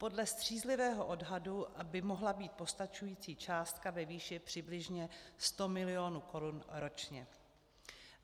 Podle střízlivého odhadu by mohla být postačující částka ve výši přibližně 100 mil. korun ročně.